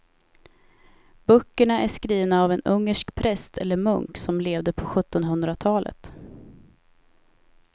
Böckerna är skrivna av en ungersk präst eller munk som levde på sjuttonhundratalet.